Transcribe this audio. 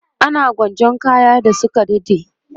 ana gwanjan kayan da Suka dade